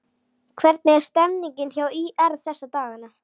Hvernig er stemningin hjá ÍR þessa dagana?